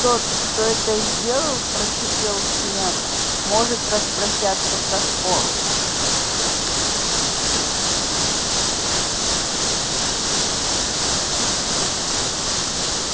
тот кто это сделал прошипел снегг может распрощаться со школой